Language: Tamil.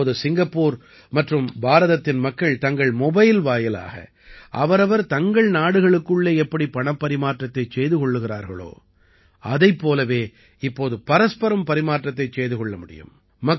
இப்போது சிங்கப்பூர் மற்றும் பாரதத்தின் மக்கள் தங்கள் மொபைல் வாயிலாக அவரவர் தங்கள் நாடுகளுக்குள்ளே எப்படி பணப்பரிமாற்றத்தைச் செய்து கொள்கிறார்களோ அதைப் போலவே இப்போது பரஸ்பரம் பரிமாற்றத்தைச் செய்து கொள்ள முடியும்